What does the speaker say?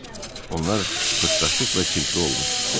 Onlar pırpdaşıq və çirkli olmuşdu.